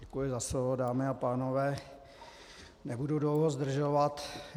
Děkuji za slovo, dámy a pánové, nebudu dlouho zdržovat.